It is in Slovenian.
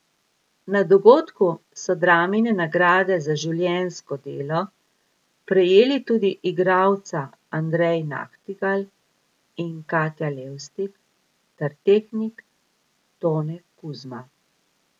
Na dogodku so Dramine nagrade za življenjsko delo prejeli tudi igralca Andrej Nahtigal in Katja Levstik ter tehnik Tone Kuzma.